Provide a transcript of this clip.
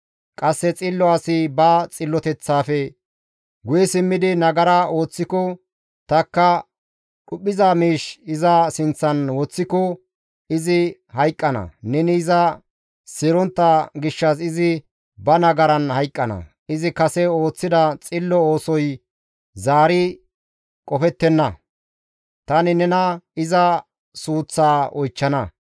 «Qasse xillo asi ba xilloteththaafe guye simmidi nagara ooththiko tanikka dhuphiza miish iza sinththan woththiko izi hayqqana; neni iza seerontta gishshas izi ba nagaran hayqqana; izi kase ooththida xillo oosoy zaari qofettenna; tani nena iza suuththaa oychchana.